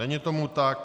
Není tomu tak.